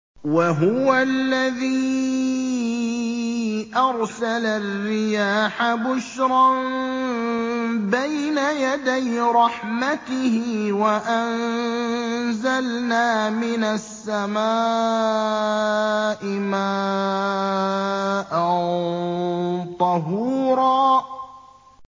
وَهُوَ الَّذِي أَرْسَلَ الرِّيَاحَ بُشْرًا بَيْنَ يَدَيْ رَحْمَتِهِ ۚ وَأَنزَلْنَا مِنَ السَّمَاءِ مَاءً طَهُورًا